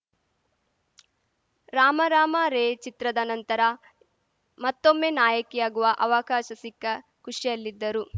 ರಾಮ ರಾಮ ರೇ ಚಿತ್ರದ ನಂತರ ಮತ್ತೊಮ್ಮೆ ನಾಯಕಿಯಾಗುವ ಅವಕಾಶ ಸಿಕ್ಕ ಖುಷಿಯಲ್ಲಿದ್ದರು